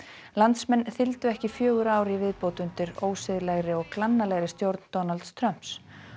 landsmenn þyldu ekki fjögur ár í viðbót undir og glannalegri stjórn Donalds Trumps